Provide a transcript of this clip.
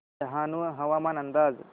डहाणू हवामान अंदाज